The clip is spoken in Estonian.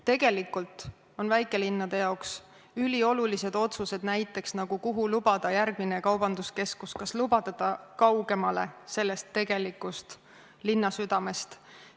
Tegelikult on väikelinnade jaoks üliolulised otsused näiteks, kuhu lubada järgmine kaubanduskeskus, kas lubada seda kaugemal tegelikust linnasüdamest.